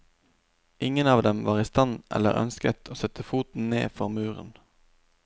Ingen av dem var i stand til, eller ønsket, å sette foten ned for muren.